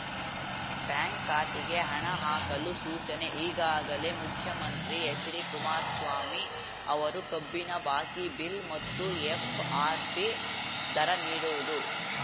bank ಖಾತೆಗೆ ಹಣ ಹಾಕಲು ಸೂಚನೆ ಈಗಾಗಲೇ ಮುಖ್ಯಮಂತ್ರಿ ಎಚ್‌ಡಿಕುಮಾರಸ್ವಾಮಿ ಅವರು ಕಬ್ಬಿನ ಬಾಕಿ ಬಿಲ್‌ ಮತ್ತು ಎಫ್‌ಆರ್‌ಪಿ ದರ ನೀಡುವುದು